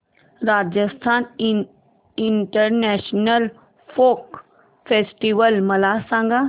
Rajasthan international folk festival मला सांग